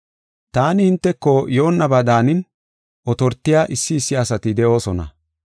Taani hinteko yoonnaba daanin, otortiya issi issi asati de7oosona.